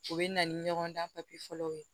U bɛ na ni ɲɔgɔndan fɔlɔw ye